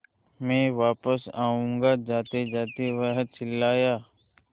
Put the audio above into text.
मैं वापस आऊँगा जातेजाते वह चिल्लाया